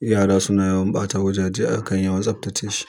Yara suna yawan ɓata wajaje, a kan yawan tsaftace shi.